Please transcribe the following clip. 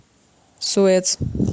суэц